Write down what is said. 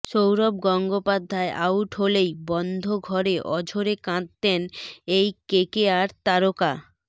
Sourav Gangopadhyay out হলেই বন্ধ ঘরে আঝোরে কাঁদতেন এই কেকেআর তারকা